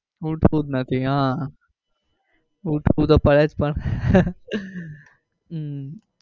ઉઠાવું જ નથી આહ ઉઠાવું તો પડે જ પણ